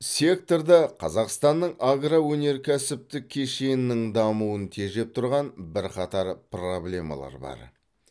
секторда қазақстанның агроөнеркәсіптік кешенінің дамуын тежеп тұрған бірқатар проблемалар бар